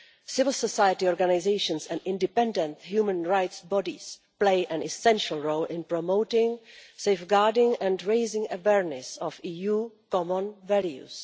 Civil society organisations and independent human rights bodies play an essential role in promoting, safeguarding and raising awareness of EU common values.